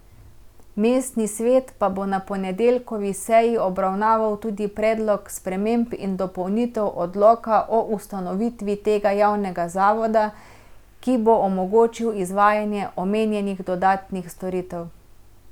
Mestni svet pa bo na ponedeljkovi seji obravnaval tudi predlog sprememb in dopolnitev odloka o ustanovitvi tega javnega zavoda, ki bo omogočil izvajanje omenjenih dodatnih storitev.